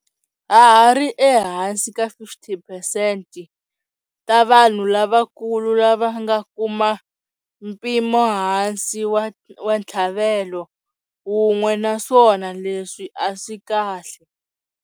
Ha ha ri ehansi ka 50 phesenti ta vanhu lavakulu lava nga kuma mpimohansi wa ntlhavelo wun'we naswona leswi a swi kahle.